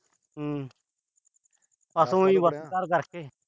ਹੂੰ। ਬੱਸ ਉ ਈ।